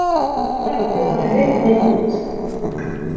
Miðarnir voru rifnir út